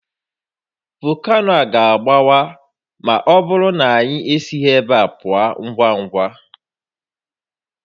Volcano a ga-agbawa ma ọ bụrụ na anyị esighi ebe a pụọ ngwa ngwa